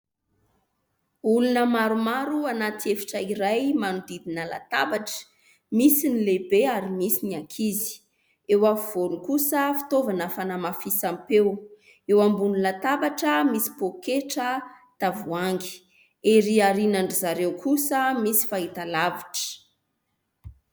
Olona maromaro anaty efitra iray manodidina latabatra. Misy ny lehibe ary misy ny ankizy. Eo afovoany kosa fitaovana fanamafisam-peo. Eo ambony latabatra misy poaketra, tavoahangy. Ery aorinan'izareo kosa misy fahitalavitra.